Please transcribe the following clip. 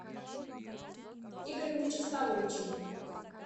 игорем вячеславовичем